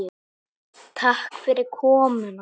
Takk fyrir komuna.